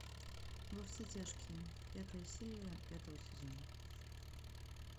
во все тяжкие пятая серия пятого сезона